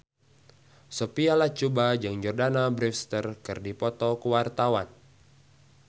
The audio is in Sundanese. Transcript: Sophia Latjuba jeung Jordana Brewster keur dipoto ku wartawan